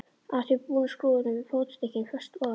Að því búnu skrúfuðum við fótstykkin föst ofan á þá.